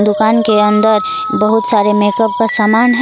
दुकान के अंदर बहुत सारे मेकअप का समान है।